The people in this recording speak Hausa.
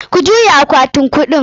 Ku juye akwatin kuɗin!